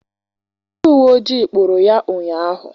Ndị uwe ojii kpụụrụ ya ụnyaahụ.